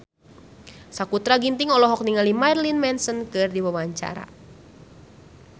Sakutra Ginting olohok ningali Marilyn Manson keur diwawancara